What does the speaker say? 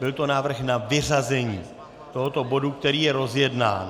Byl to návrh na vyřazení tohoto bodu, který je rozjednán.